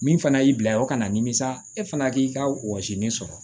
Min fana y'i bila o kana nimisa e fana k'i ka wɔsi nin sɔrɔ